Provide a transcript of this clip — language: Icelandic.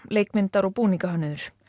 leikmyndar og búningahönnuður